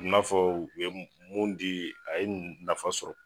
A bi n'a fɔ u ye mun di, a ye nafa sɔrɔ.